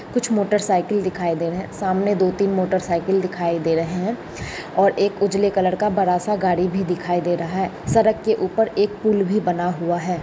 कुछ motorcycle दिखाई दे रहे सामने दो तीन मोटर साइकिल दिखाई दे रहे हैं और एक उजले कलर का बड़ा सा गाड़ी भी दिखाई दे रहा। सरक के ऊपर एक पुल भी बना हुआ है।